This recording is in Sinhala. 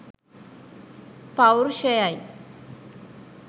පෞර්ෂයයි.